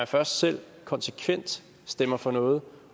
først selv konsekvent stemmer for noget